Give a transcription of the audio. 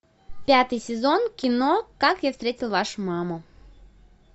пятый сезон кино как я встретил вашу маму